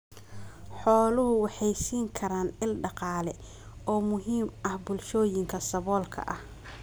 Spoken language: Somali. Xooluhu waxay siin karaan il dhaqaale oo muhiim ah bulshooyinka saboolka ah.